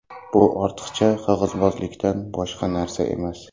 Bu ortiqcha qog‘ozbozlikdan boshqa narsa emas.